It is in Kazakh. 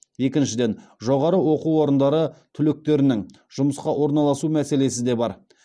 екіншіден жоғары оқу орындары түлектерінің жұмысқа орналасу мәселесі де бар